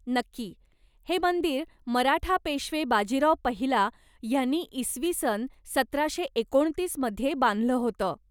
नक्की, हे मंदिर मराठा पेशवे बाजीराव पहिला ह्यांनी इसवी सन सतराशे एकोणतीस मध्ये बांधलं होतं.